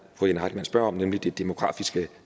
spørger om nemlig det demografiske